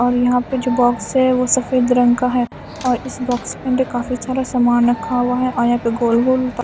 और यहां पे जो बॉक्स है वो सफेद रंग का है और इस बॉक्स में अंद काफी सारा सामान रखा हुआ है और यहा पे गोल गोल --